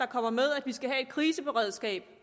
kommer med at vi skal have et kriseberedskab